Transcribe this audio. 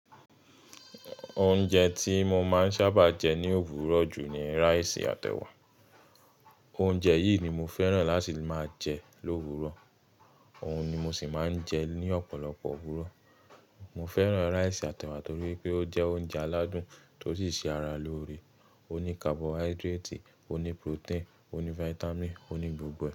Oúnjẹ tí mo máa ń sábà jẹ ní òwúrọ̀ jù ni rice àt'ẹ̀wà. Oúnjẹ yìí ni mo fẹ́ràn láti máa jẹ lówurọ̀, òun ni mo sì máa ń jẹ ní ọ̀pọ̀lọpọ̀ òwúrọ̀. Mo fẹ́ràn rice àt'ẹ̀wà torí pé ó jẹ́ oúnjẹ aládùn tó sì ṣe ara lóore. Ó ní carbohydrate, ó ní protein, ó ní vitamin, ó ní gbogbo rẹ̀